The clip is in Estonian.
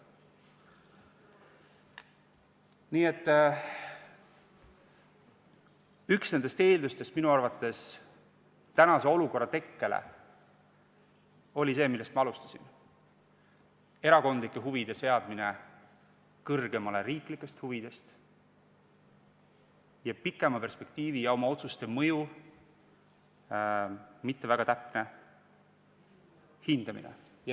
Nii et minu arvates üks nendest eeldustest tänase olukorra tekkele oli see, millest ma alustasin: erakondlike huvide seadmine kõrgemale riiklikest huvidest ning pikema perspektiivi ja oma otsuste mõju mitte väga täpne hindamine.